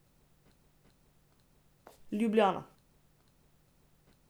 Ljubljana.